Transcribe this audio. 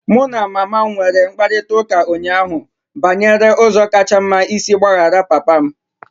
Mụ na mama m nwere mkparịta ụka ụnyaahụ banyere ụzọ kacha mma isi gbaghara papa m.